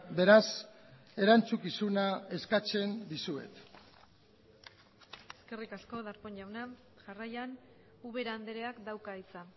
beraz erantzukizuna eskatzen dizuet eskerrik asko darpón jauna jarraian ubera andreak dauka hitza